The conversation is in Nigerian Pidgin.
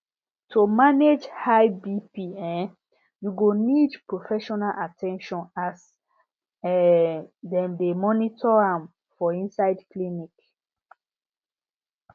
to manage high bp um you go need professional at ten tion as um dem dey monitor am for inside clinics